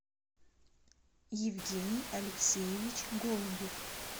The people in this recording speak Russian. евгений алексеевич голубев